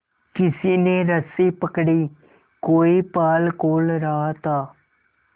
किसी ने रस्सी पकड़ी कोई पाल खोल रहा था